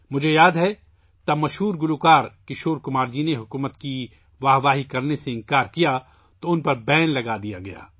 مجھے یاد ہے جب مشہور گلوکار کشور کمار نے حکومت کی تعریف کرنے سے انکار کیا تو ان پر پابندی لگا دی گئی